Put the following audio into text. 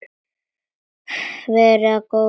Verði þér að góðu.